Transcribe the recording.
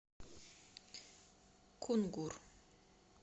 кунгур